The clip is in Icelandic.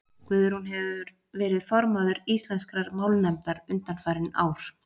guðrún hefur verið formaður íslenskrar málnefndar undanfarin ár